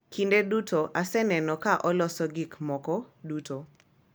Kinde duto aseneno ka oloso gik moko duto